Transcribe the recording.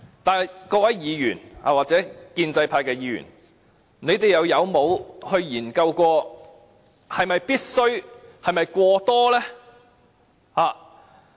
但是，各位議員，或者建制派議員，你們曾否研究這是否必須，是否過多呢？